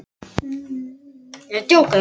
Vissi nákvæmlega hvar hann var veikastur fyrir.